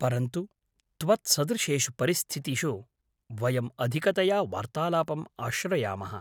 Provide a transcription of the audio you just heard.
परन्तु त्वत्सदृशेषु परिस्थितिषु, वयम् अधिकतया वार्तालापम् आश्रयामः।